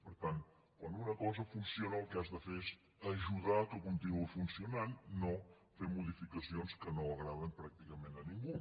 per tant quan una cosa funciona el que has de fer és ajudar perquè funcionant no fer modificacions que no agraden pràcticament a ningú